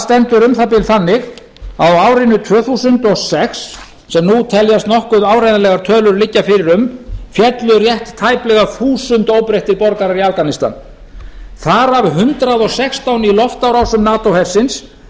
stendur um það bil þannig að á árinu tvö þúsund og sex sem nú teljast nokkuð áreiðanlegar tölur liggja fyrir um féllu rétt tæplega þúsund óbreyttir borgarar í afganistan þar af hundrað og sextán í loftárásum nato hersins